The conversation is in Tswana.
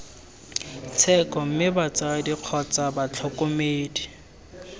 tsheko mme batsadi kgotsa batlhokomedi